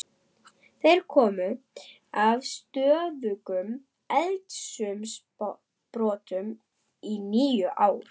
Þeir komu til af stöðugum eldsumbrotum í níu ár.